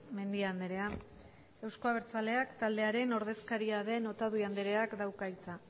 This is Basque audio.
mendia andrea euzko abertzaleak taldearen ordezkaria den otadui andreak dauka hitza